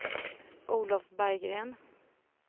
Olov Berggren